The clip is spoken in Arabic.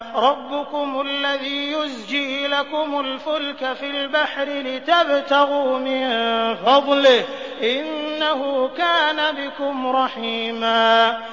رَّبُّكُمُ الَّذِي يُزْجِي لَكُمُ الْفُلْكَ فِي الْبَحْرِ لِتَبْتَغُوا مِن فَضْلِهِ ۚ إِنَّهُ كَانَ بِكُمْ رَحِيمًا